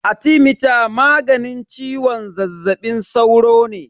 Arthemeter maganin ciwon zazzabin sauro ne.